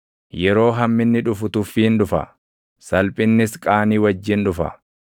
Yeroo hamminni dhufu tuffiin dhufa; salphinnis qaanii wajjin dhufa.